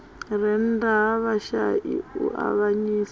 rennda ha vhashai u avhanyisa